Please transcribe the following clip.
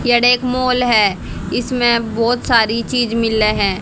Mall है इसमें बहोत सारी चीज मिले हैं।